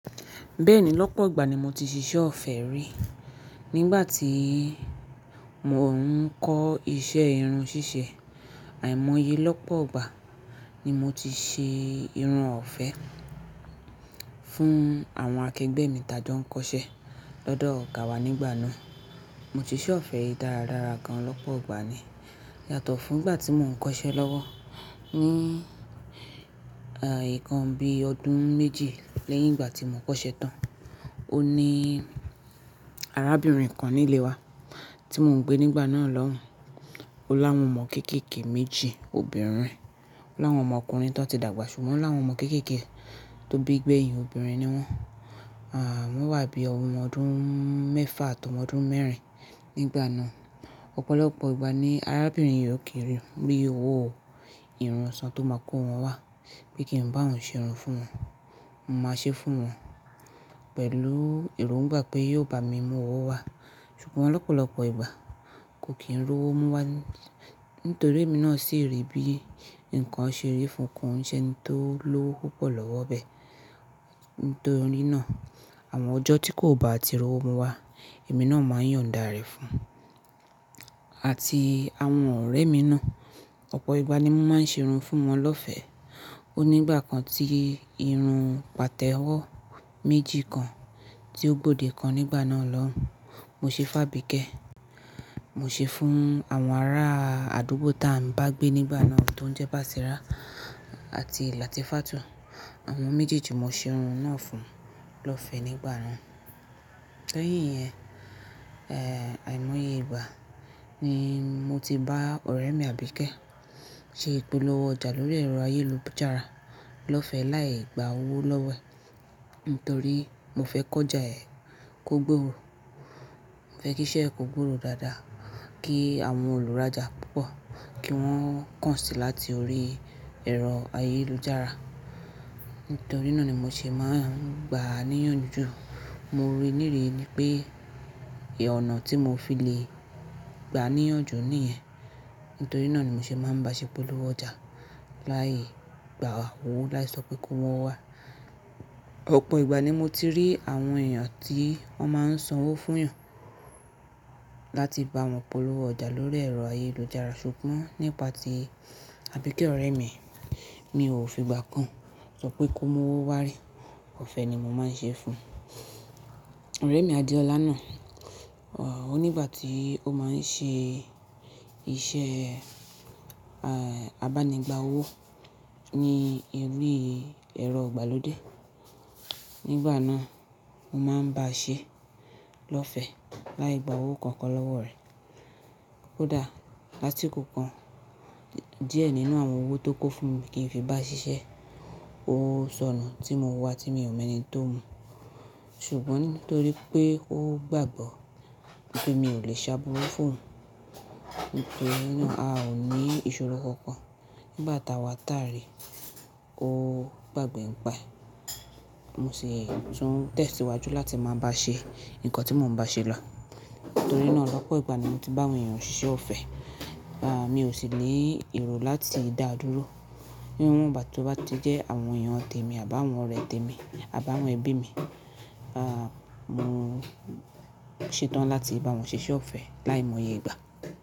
Bẹ́ẹ̀ni lọ́pọ̀ ìgbà ni mo ti ṣiṣẹ́ ọ̀fẹ́ rí. Nígbà tí mo ń kọ́ iṣẹ́ irun ṣíṣe, àìmọye lọ́pọ̀ ìgbà ni mo ti ṣe irun ọ̀fẹ́ fún àwọn akẹgbẹ́ mi tajọ kọ́ṣẹ́ lọ́dọ̀ ọ̀gá wa nígbà náà. Mo ti ṣe ise ọ̀fẹ́ dáradára gan lọ́pọ̀ ìgbà ni. Yàtọ̀ fún ìgbà tí mò ń kọ́ṣẹ́ lọ́wọ́ ní ìkan bí ọdún méji lẹ́yìn ìgbà tí mò kọ́ṣẹ́ tán. Ó ní arábìnrin kan nílé wa tí mò ń gbé nígbà náà lọ́hùn. Ó láwọn ọmọ kéékèèké méjì obìnrin, ó láwọn ọmọkùnrin tó ti dàgbà ṣùgbọ́n ó láwọn ọmọ kéékèèké tó bí gbẹ̀hìn obìnrin ni wọ́n. À, wọ́n wà bíi ọmọ ọdún mẹ́fà àti ọmọ ọdún mẹ́rin nígbà náà. Ọ̀pọ̀lọpọ̀ ìgbà ni arábìnrin yi o kin ri owó ìrun ṣọ tó máa kó wọn wá, pé kí n bá wọn ṣe irun fún wọn. Mo máa ṣe fún wọn pẹ̀lú èrò ń bá pé yóò bá mi mú owó wá. Ṣùgbọ́n lọ́pọ̀lọpọ̀ ìgbà kò kí ń ri owó mú wá nítorí èmi náà sì rì bí nǹkan ṣe rí fún ko n'se eni tó ló owó púpọ̀ lọ́wọ́ bẹ́ẹ̀. Nítorí náà àwọn ọjọ́ tí kò bá ti ri owó mú wá, èmi náà máa yọ̀n dàá rẹ̀ fún un àti àwọn ọ̀rẹ́ mi náà. Ọ̀pọ̀ ìgbà ni mo máa ń ṣe irun fún wọn lọ́fẹ́. Ó ní ìgbà kan tí irun pàtẹ́wọ́ méjì kan tí ó gbòde kan nígbà náà lọ́hùn, mo ṣe fun abìkẹ́. Mo ṣe fún àwọn ará àdúgbò tá a ń ba gbé nígbà náà tó ń jẹ́ Basira àti Latifatu. Àwọn méjèèjì mo ṣe irun náà fún wọn lọ́fẹ́ nígbà náà. Lẹ́yìn yen, àìmọye ìgbà ni mo ti bá ọ̀rẹ́ mi Àbíkẹ́ ṣe ipolowo ọjà lórí ẹ̀rọ ayélujára lọ́fẹ́ láì gba owó lọ́wọ́ ẹ̀. Nítorí mo fẹ́ ki ọ́jà ẹ́ kó gbówó. Mo fẹ́ kí iṣẹ́ ẹ kó gbówó dáadáa kí àwọn olùrájà púpọ̀ kí wọ́n kàn sí i láti orí ẹ̀rọ ayélujára. Nítorí náà ni mo ṣe máa ń gba níyànjú. Mo rí nírìí pé ọ̀nà tí mo fi lè gba níyànjú nìyẹn. Nítorí náà ni mo ṣe máa ń bá a ṣe ipolowo ọjà láì gba owó, láì sọ pé kó mu owo wá. Ọ̀pọ̀ ìgbà ni mo ti rí àwọn èèyàn tí wọ́n máa ń san owó fún e'yan láti bá wọn polowo ọjà lórí ẹ̀rọ ayélujára. Ṣùgbọ́n nípa tí Àbíkẹ́ ọ̀rẹ́ mi, mi ò fi ìgbà kan sọ pé kó mú owó wá rí. Ọ̀fẹ́ ni mo máa ń ṣe fún un. Ọ̀rẹ́ mi Adéọlá náà, ó ní ìgbà tí ó máa ń ṣe iṣẹ́, abánigbà owó ní orí ẹ̀rọ ìgbàlódé. Nígbà náà, mo máa ń báa ṣe lọ́fẹ́ láì gba owó kankan lọ́wọ́ rẹ̀. Koda lasiko kan díẹ̀ nínú àwọn owó ti o kó fún mi kí n fi bá ṣiṣẹ́. O sọnù tí mo n wá tí mi ò mọ ẹni tó mú. Ṣùgbọ́n nítorí pé ó gbàgbọ́ pé mi ò lè ṣáburu fún oun. Nítorí náà a ò ní ìṣòro kankan. Nígbà tá a wà tàárí, ó gbàgbé ń pa e. Mo sì tún tẹ̀síwájú láti máa bá a ṣe nǹkan tí mò ń bá a ṣe lọ. Nítorí náà lọ́pọ̀ ìgbà ni mo ti bá àwọn èèyàn siṣe ọ̀fẹ́. À, mi ò sì ní èrò láti dáa dúró. Ní wọn ìgbà tí ó bá ti jẹ́ àwọn èèyàn tèmi àbi àwọn ọ̀rẹ́ tèmi àbá àwọn ẹbí mi, mo ṣetán láti bá wọn ṣe iṣẹ́ ọ̀fẹ́ láìmọye ìgbà.